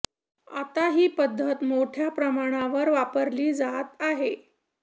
आता ही पद्धत मोठ्या प्रमाणावर वापरली जात आहे